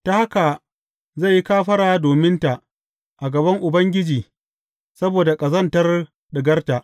Ta haka zai yi kafara dominta a gaban Ubangiji saboda ƙazantar ɗigarta.